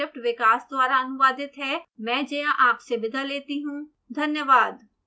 यह स्क्रिप्ट विकास द्वारा अनुवादित है आईआईटी बॉम्बे से में जया आपसे विदा लेती हूँ धन्यवाद